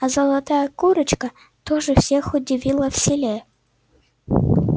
а золотая курочка тоже всех удивила в селе